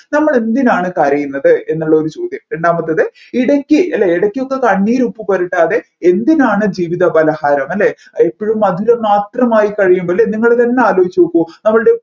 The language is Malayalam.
നമ്മൾ എന്തിനാണ് കരയുന്നത് എന്നുള്ള ഒരു ചോദ്യം രണ്ടാമത്ത് ഇടയ്ക് അല്ലെ ഇടയ്ക്കൊക്കെ കണ്ണീർ ഉപ്പ് പുരട്ടാതെ എന്തിനാണ് ജീവിത പലഹാരം അല്ലെ ഇപ്പോഴും മധുരം മാത്രം കഴിയുമ്പോൾ അല്ലെ നിങ്ങൾ തന്നെ ആലോചിച്ച് നോക്കു